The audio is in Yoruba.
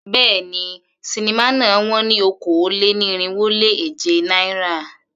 Béèni, sinimá náà wón ní okòó-lé-ní-irínwó-lé-èje náírà.